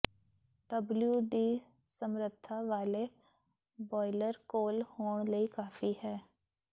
W ਦੀ ਸਮਰੱਥਾ ਵਾਲੇ ਬੌਇਲਰ ਕੋਲ ਹੋਣ ਲਈ ਕਾਫੀ ਹੈ